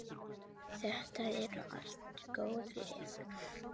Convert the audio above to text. Þetta eru allt góð lið.